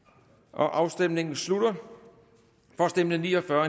afstemningen slutter for stemte ni og fyrre